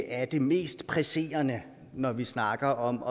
er det mest presserende når vi snakker om